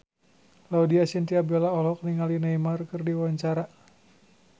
Laudya Chintya Bella olohok ningali Neymar keur diwawancara